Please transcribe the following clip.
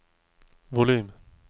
volym